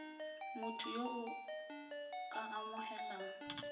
motho yo o ka amogelang